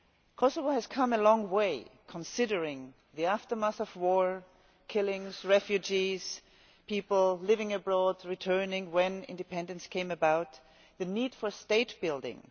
Kosovo has come a long way considering the aftermath of war, killings, refugees, people living abroad and returning when independence came about, and the need for state building.